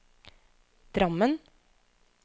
Drammen